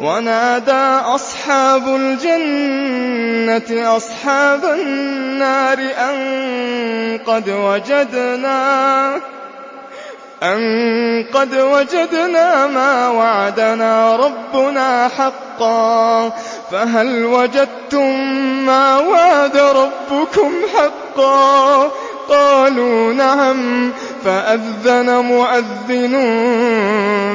وَنَادَىٰ أَصْحَابُ الْجَنَّةِ أَصْحَابَ النَّارِ أَن قَدْ وَجَدْنَا مَا وَعَدَنَا رَبُّنَا حَقًّا فَهَلْ وَجَدتُّم مَّا وَعَدَ رَبُّكُمْ حَقًّا ۖ قَالُوا نَعَمْ ۚ فَأَذَّنَ مُؤَذِّنٌ